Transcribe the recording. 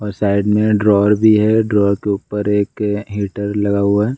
और साइड में ड्रावर भी है। ड्रावर के ऊपर एक हीटर लगा हुआ है।